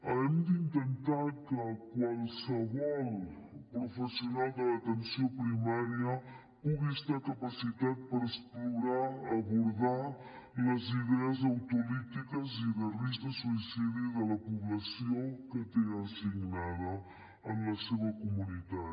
hem d’intentar que qualsevol professional de l’atenció primària pugui estar capacitat per explorar abordar les idees autolítiques i de risc de suïcidi de la població que té assignada en la seva comunitat